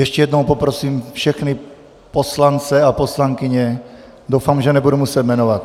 Ještě jednou poprosím všechny poslance a poslankyně, doufám, že nebudu muset jmenovat.